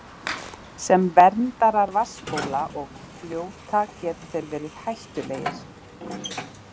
Sem verndarar vatnsbóla og fljóta geta þeir verið hættulegir.